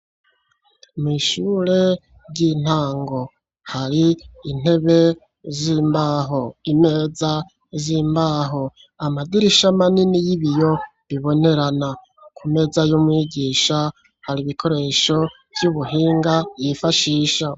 Mw'ishure ry'intango, hari intebe z'imbaho, imeza z'imbaho, amadirisha manini y'ibiyo bibonerana, imeza y'umwigisha hari ibikoresho vy'ubuhinga yifashisha .